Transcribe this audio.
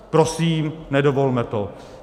Prosím, nedovolme to.